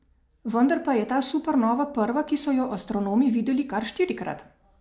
Vendar pa je ta supernova prva, ki so jo astronomi videli kar štirikrat.